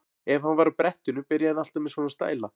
Ef hann var á brettinu byrjaði hann alltaf með svona stæla.